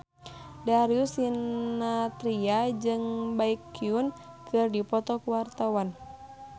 Darius Sinathrya jeung Baekhyun keur dipoto ku wartawan